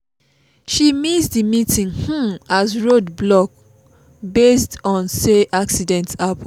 she miss the meeting um as road block based on say accident happen